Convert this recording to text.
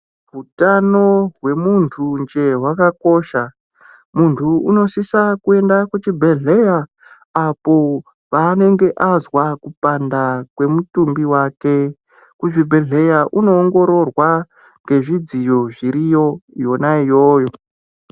Hutano hwemuntu nhee hwakakosha munhu unosisa kuenda kuchibhedhlera apo paanenge azwa kupanda kwemutumbi wake, kuzvibhedhera munoongororwa ngezvidziyo zviriyo Yona iyoyo.